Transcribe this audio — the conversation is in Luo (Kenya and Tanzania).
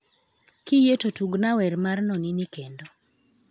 Kiyie to tugna wer mar Nonini kendo